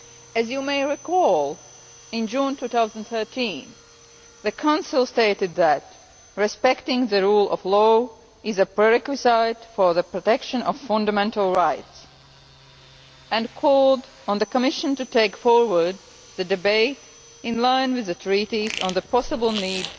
As you may recall, in June 2013 the Council stated that respecting the rule of law is a prerequisite for the protection of fundamental rights and called on the Commission to take forward the debate in line with the Treaties on the possible need